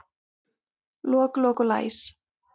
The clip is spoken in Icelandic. Lok, lok og læs.